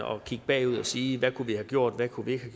at kigge bagud og sige hvad kunne vi have gjort hvad kunne vi ikke